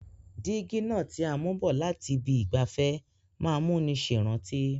Dígí náà ti a mú bọ̀ láti ibi ìgbafẹ́ má n múni sèrántí